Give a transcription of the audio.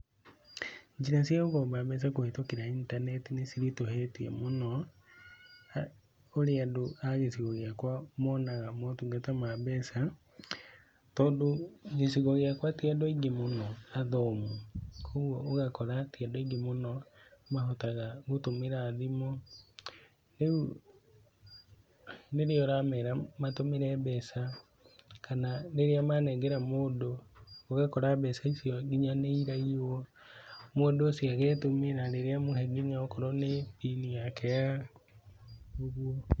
Njĩra cia gũkomba mbeca kũhĩtũkĩra intaneti nĩ ciritũhĩte mũno ũrĩa andũ a gĩcugo gĩakwa monaga motungata ma mbeca, tondũ gĩcugo gĩakwa ti andũ aingĩ mũno athomu, koguo ũgakora ti andũ aingĩ mũno mahotaga gũtũmĩra thimũ. Rĩu rĩrĩa ũramera matũmire mbeca kana rĩrĩa manengera mũndũ, ũgakora mbeca icio nginya nĩ iraiyuo mũndũ ũcio agetũmĩra rĩrĩa amũhe nginya okorwo nĩ pin yake ya ũguo.